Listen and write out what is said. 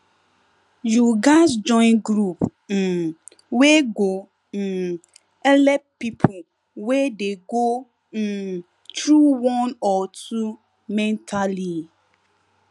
you gats join group um wey go um helep people wey dey go um through one or two mentally